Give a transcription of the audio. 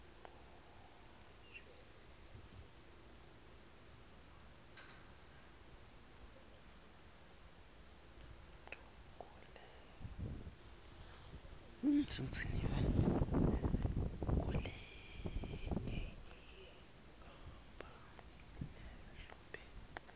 kulenye inkampani lehlobene